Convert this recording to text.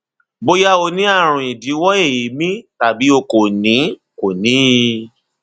bóyá o ní ààrùn ìdíwọ èémí tàbí o kò ní kò ní i